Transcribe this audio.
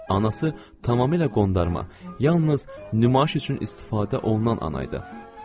Anası tamamilə qondarma, yalnız nümayiş üçün istifadə olunan ana idi.